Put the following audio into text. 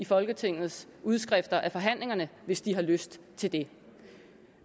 folketingets forhandlinger hvis de har lyst til det